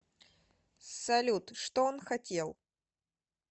салют что он хотел